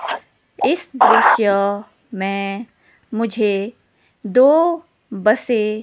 इस दृश्य में मुझे दो बसें --